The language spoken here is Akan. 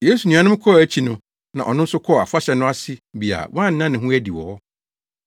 Yesu nuanom kɔɔ akyi no na ɔno nso kɔɔ afahyɛ no ase bi a wanna ne ho adi wɔ hɔ.